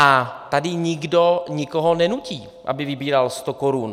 A tady nikdo nikoho nenutí, aby vybíral sto korun.